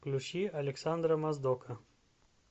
включи александра моздока